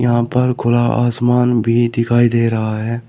यहां पर खुला आसमांन भी दिखाई दे रहा है।